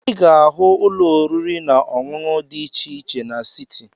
Ị ga-ahụ ụlọ oriri na ọṅụṅụ di iche iche n'siti.